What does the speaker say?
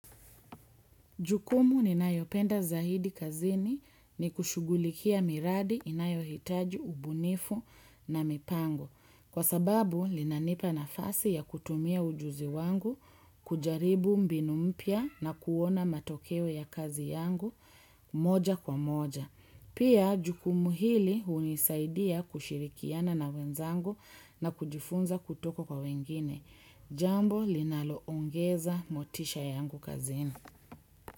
Jukumu ninayopenda zaidi kazini ni kushugulikia miradi inayohitaji ubunifu na mipango. Kwa sababu, linanipa nafasi ya kutumia ujuzi wangu, kujaribu mbinu mpya na kuona matokeo ya kazi yangu moja kwa moja. Pia, jukumu hili hunisaidia kushirikiana na wenzangu na kujifunza kutoka kwa wengine. Jambo, linaloongeza motisha yangu kazini.